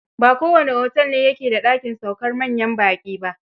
Ba kowane otel ne ya ke da dakin saukar manyan baƙi ba.